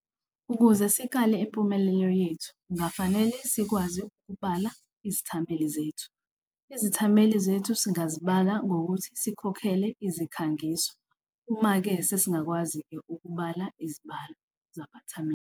Ukuze sikale impumelelo yethu, kungafanele sikwazi ukubala izithameli zethu, izithameli zethu singazibala ngokuthi sikhokhele izikhangiso. Kuma-ke sesingakwazi-ke ukubala izibalo zabathameli.